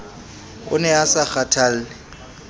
o ne a sa kgathalle